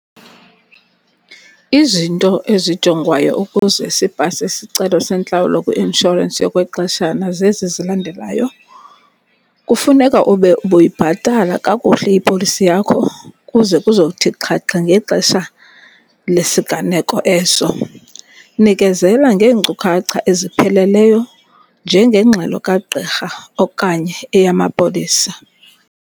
Izinto ezijongwayo ukuze sipase isicelo sentlawulo kwi-inshorensi yokwexeshana zezi zilandelayo. Kufuneka ube ubuyibhatala kakuhle ipolisi yakho ukuze kuzothi xhaxhe ngexesha lesigneko eso. Nikezela ngeenkcukacha ezipheleleyo njengengxelo kagqirha okanye eyamapolisa.